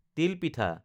তিল পিঠা